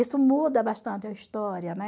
Isso muda bastante a história, né?